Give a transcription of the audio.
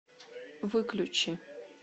выключи